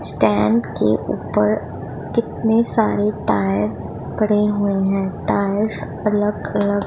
stand के ऊपर कितने सारे टायर पड़े हुए हैं टायर्स अलग अलग--